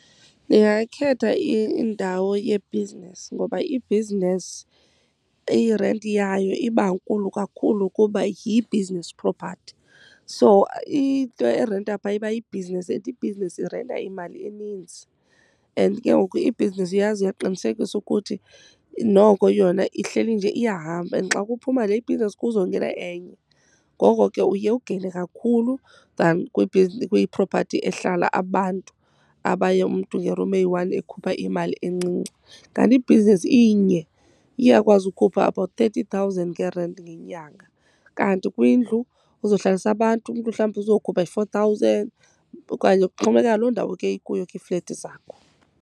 Ndingakhetha indawo yebhizinesi ngoba ibhizinesi irenti yayo iba nkulu kakhulu kuba yi-business property. So into erenta phaa iba yibhizinesi and ibhizinesi irenta imali eninzi. And ke ngoku ibhizinesi uyazi uyaqinisekisa ukuthi noko yona ihleli nje iyahamba and xa kuphuma le ibhizinesi kuzongena enye. Ngoko ke uye ugeyine kakhulu than kwipropathi ehlala abantu abaye umntu nge-room eyi-one ekhupha imali encinci. Kanti ibhizinesi inye iyakwazi ukhupha about thirty thousand ngerenti ngenyanga. Kanti kwindlu uzohlalisa abantu, umntu mhlawumbi uzokhupha i-four thousand okanye kuxhomekeka loo ndawo ke ikuyo ke iiflethi zakho.